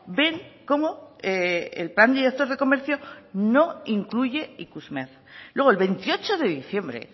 ven cómo el plan director de comercio no incluye ikusmer luego el veintiocho de diciembre